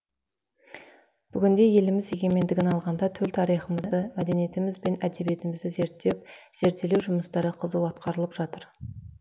бүгінде еліміз егемендігін алғанда төл тарихымызды мәдениетіміз мен әдебиетімізді зерттеп зерделеу жұмыстары қызу атқарылып жатыр